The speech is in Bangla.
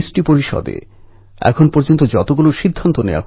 দেশের আর এক কন্যা একতা ভয়ান আমার চিঠির জবাবে ইন্দোনেশিয়া থেকে